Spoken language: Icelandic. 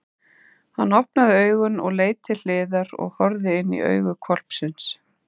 Hann opnaði augun og leit til hliðar og horfði inní augu hvolpsins!